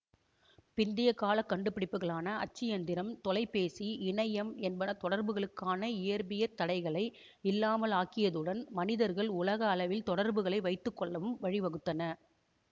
பிந்திய கால கண்டுபிடிப்புக்களான அச்சியந்திரம் தொலைபேசி இணையம் என்பன தொடர்புகளுக்கான இயற்பியற் தடைகளை இல்லாமலாக்கியதுடன் மனிதர்கள் உலக அளவில் தொடர்புகளை வைத்துக்கொள்ளவும் வழி வகுத்தன